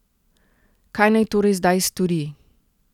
Kaj naj torej zdaj stori?